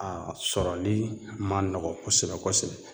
A sɔrɔli ma nɔgɔn kosɛbɛ kosɛbɛ